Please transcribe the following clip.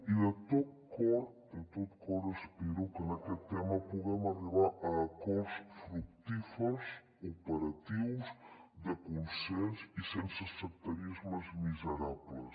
i de tot cor espero que en aquest tema puguem arribar a acords fructífers operatius de consens i sense sectarismes miserables